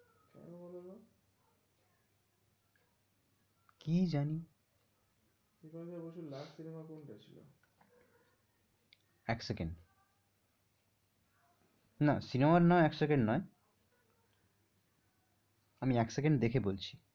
কি জানি বিপাশা বসুর last cinema কোনটা ছিল? এক সেকেন্ড না cinema র নাম এক সেকেন্ড নয় আমি এক সেকেন্ড দেখে বলছি।